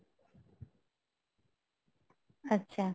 আচ্ছা